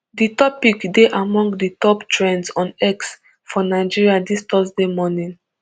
di topic dey among di top trends on x for nigeria dis thursday morning